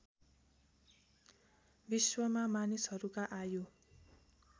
विश्वमा मानिसहरूका आयु